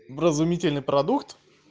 вразумительный продукт